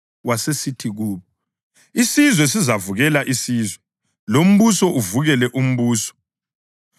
Wasesithi kubo: “Isizwe sizavukela isizwe, lombuso uvukele umbuso.